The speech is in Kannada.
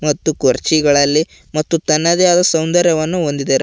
ಮತ್ತು ಕುರ್ಚಿಗಳಲ್ಲಿ ಮತ್ತು ತನ್ನದೇ ಆದ ಸೌಂದರ್ಯವನ್ನು ಹೊಂದಿದೆ.